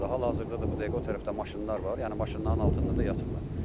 Hal-hazırda da bu dəqiqə o tərəfdə maşınlar var, yəni maşınların altında da yatıblar.